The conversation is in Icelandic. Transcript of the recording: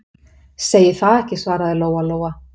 Segi það ekki, svaraði Lóa-Lóa.